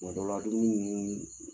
Kuma dɔ la dumuni ninnu ni